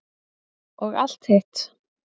Og allt hitt.